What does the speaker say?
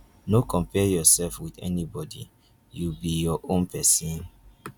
no compare yourself wit anybodi you be your own pesin.